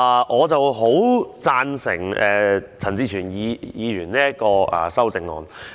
我很贊成陳志全議員這項修正案。